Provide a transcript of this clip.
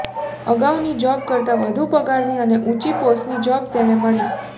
અગાઉની જોબ કરતાં વધુ પગારની અને ઊંચી પોસ્ટની જોબ તેને મળી